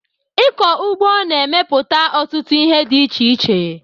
Ịkọ ụgbọ na-emepụta ọtụtụ ihe dị iche iche